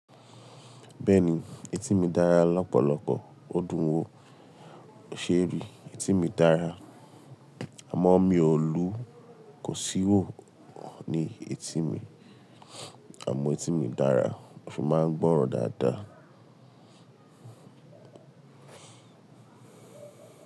Bẹ́ẹ̀ni, etí mi dára lọ́pọ̀lọpọ̀. Ó dùn wò, o ṣé èrí etí mi dára? Àmọ́ mi ò lu kò sì wò ní etí mi. Àmọ́ etí mi dára, ó fi máa ń gbọ́ràn dáadáa.